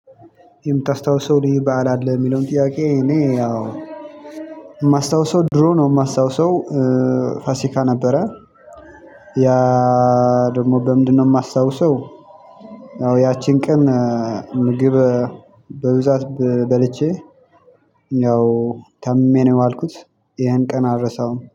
የምታስታውሰው ልዩ በዓል አለ የሚለውን ጥያቄ? እኔ ያው የማስታውሰው ድሮ ነው የማስታውሰው ፋሲካ ነበረ። ያ ደግሞ በምንድነው? የማስታውሰው ያው ያቺን ቀን ምግብ በብዛት በልቼ ያው ታምሜ ነው የዋልኩት። ያን ቀን አልረሳውም